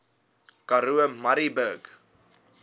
karoo murrayburg